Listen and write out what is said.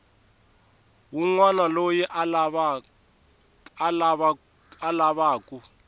wun wana loyi a lavaku